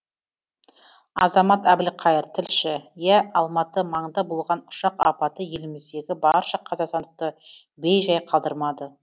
азамат әбілқайыр тілші иә алматы маңында болған ұшақ апаты еліміздегі барша қазақстандықты бейжай қалдырмады